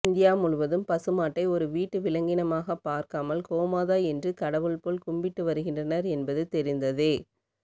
India முழுவதும் பசுமாட்டை ஒரு வீட்டு விலங்கினமாக பார்க்காமல் கோமாதா என்று கடவுள் போல் கும்பிட்டு வருகின்றனர் என்பது தெரிந்ததே